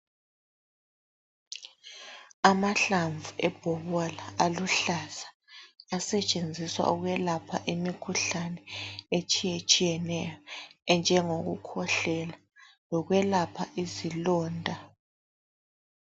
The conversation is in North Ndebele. Amahlamvu ebhobola aluhlaza asetshenziswa ukwelapha imikhuhlane etshiyetshiyeneyo enjengokukhwehlela lokwelapha izilonda.